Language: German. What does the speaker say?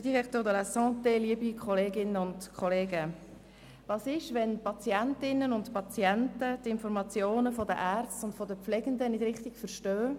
Was geschieht, wenn die Patientinnen und Patienten die Informationen der Ärzte und der Pflegenden nicht richtig verstehen?